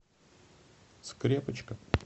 скрепочка